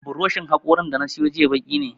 Buroshin haƙorin da na siyo jiya baki ne